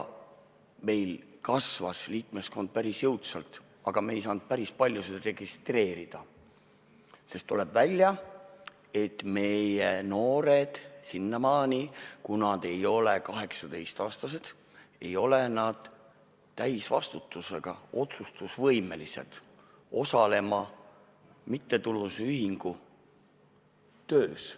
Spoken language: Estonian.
Meie liikmeskond kasvas päris jõudsalt, aga me ei saanud päris paljusid registreerida, sest tuli välja, et meie noored, kui nad ei ole 18-aastased, ei ole täisvastutusega, nad ei ole otsustusvõimelised, et osaleda mittetulundusühingu töös.